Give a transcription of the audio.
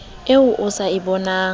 eo a sa e boneng